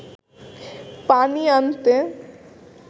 পানি আনতে